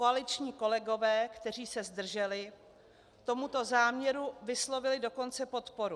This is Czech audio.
Koaliční kolegové, kteří se zdrželi, tomuto záměru vyslovili dokonce podporu.